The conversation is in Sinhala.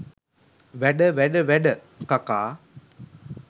වැඩ ! වැඩ ! වැඩ ! කකා